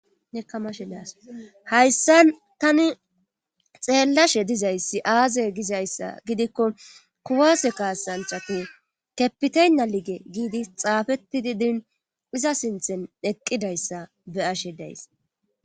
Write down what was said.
Ne kamashe daas hayssa tani xeellashe dizayssi aaze gizayssa gidikko kuwase kaasanchati kepiteyna lige giidi xaafetidi din iza sinthen eqqidayssa be ashe days